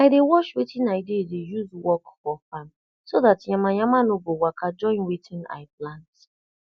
i dey wash wetin i dey dey use work for farm so dat yama yama no go waka join wetin i plant